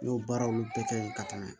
N y'o baaraw bɛɛ kɛ ka tɛmɛ